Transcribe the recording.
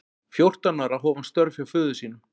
Fjórtán ára hóf hann störf hjá föður sínum.